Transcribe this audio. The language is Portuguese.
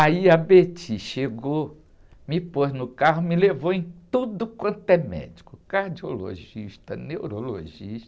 Aí a chegou, me pôs no carro, me levou em tudo quanto é médico, cardiologista, neurologista,